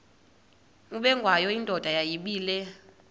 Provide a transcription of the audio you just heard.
ubengwayo indoda yayibile